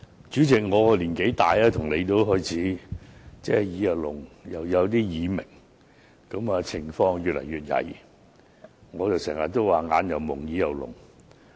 主席，我年紀大，跟你一樣，耳聾和耳鳴的情況越來越嚴重，我經常說：我"眼又矇，耳又聾"。